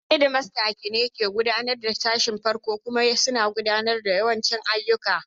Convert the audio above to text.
Head Master ne ke kula da sashin farko kuma suna gudanar da yawancin ayyuka.